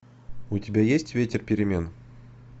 у тебя есть ветер перемен